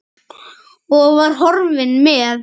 Og var horfinn með.